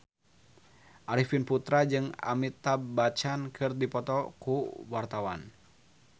Arifin Putra jeung Amitabh Bachchan keur dipoto ku wartawan